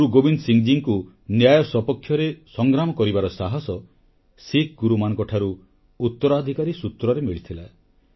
ଗୁରୁ ଗୋବିନ୍ଦ ସିଂଙ୍କୁ ନ୍ୟାୟ ସପକ୍ଷରେ ସଂଗ୍ରାମ କରିବାର ସାହସ ଶିଖ ଗୁରୁମାନଙ୍କଠାରୁ ଉତ୍ତରାଧିକାରୀ ସୂତ୍ରରେ ମିଳିଥିଲା